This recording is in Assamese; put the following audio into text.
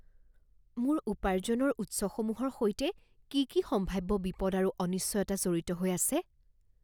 মোৰ উপাৰ্জনৰ উৎসসমূহৰ সৈতে কি কি সম্ভাব্য বিপদ আৰু অনিশ্চয়তা জড়িত হৈ আছে?